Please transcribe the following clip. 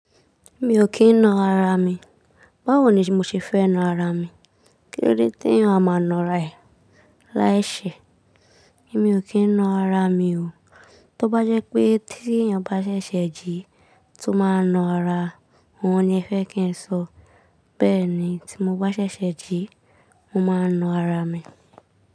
Mi ò kí ń na ara mi. Báwo ni mo ṣe fẹ́ na ara mi? Kílódé tí èèyàn máa na ara ẹ̀ lai ṣe? Èmi ò kí ń na ara mi o. Tó bá jẹ́ pé tí èèyàn bá ṣẹ̀ṣẹ̀ jí tó máa na ara, òun ni ẹ fẹ́ kí n sọ. Bẹ́ẹ̀ ni tí mo bá ṣẹ̀ṣẹ̀ jí, mo máa na ara mi.